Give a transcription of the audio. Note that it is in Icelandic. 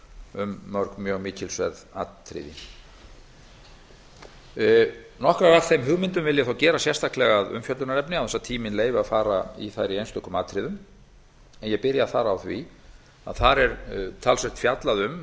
um mörg mjög mikilsverð atriði nokkrar af þeim hugmyndum vil ég þó gera sérstaklega að umfjöllunarefni án þess að tíminn leyfi að fara í þær í einstökum atriðum en ég byrja þar á því að þar er talsvert fjallað um það